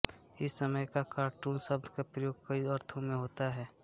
इस समय कार्टून शब्द का प्रयोग कई अर्थों में होता है